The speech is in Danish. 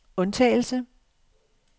undtagelse